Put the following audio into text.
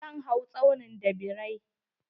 Zan hau tsaunin da birai.